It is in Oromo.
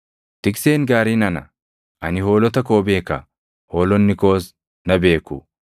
“Tikseen gaariin ana; ani hoolota koo beeka; hoolonni koos na beeku;